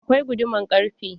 Akwai guduman ƙarfe.